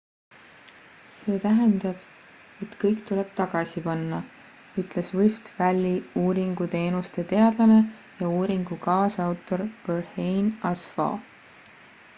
see tähendab et kõik tuleb tagasi panna ütles rift valley uuringuteenuste teadlane ja uuringu kaasautor berhane asfaw